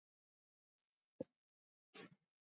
Ég held að henni leiðist vinnan.